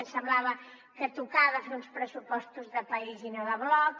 ens semblava que tocava fer uns pressupostos de país i no de bloc